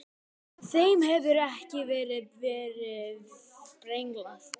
Þeim hefur ekki enn verið brenglað.